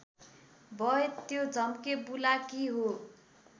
भए त्यो झम्केबुलाकी हो